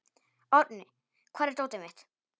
Árni, hvar er dótið mitt?